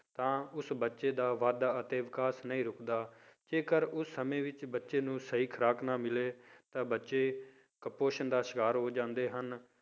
ਤਾਂ ਉਸ ਬੱਚੇ ਦਾ ਵਾਧਾ ਅਤੇ ਵਿਕਾਸ ਨਹੀਂ ਰੁਕਦਾ, ਜੇਕਰ ਉਹ ਸਮੇਂ ਵਿੱਚ ਬੱਚੇ ਨੂੰ ਸਹੀ ਖੁਰਾਕ ਨਾ ਮਿਲੇ ਤਾਂ ਬੱਚੇ ਕੁਪੋਸ਼ਣ ਦਾ ਸ਼ਿਕਾਰ ਹੋ ਜਾਂਦੇ ਹਨ।